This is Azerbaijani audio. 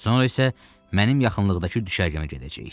Sonra isə mənim yaxınlıqdakı düşərgəmə gedəcəyik.